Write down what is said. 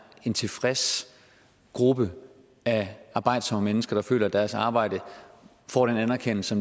en tilfreds gruppe af arbejdsomme mennesker der føler at deres arbejde får den anerkendelse